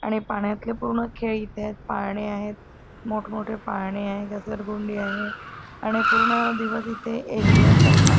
आणि पाण्यातले पूर्ण खेळ इथे आहेत पाळणे आहेत मोठ मोठे पाळणे आहेत घसरगुंडी आहे आणि पूर्ण दिवस येथे एंजॉय करतात.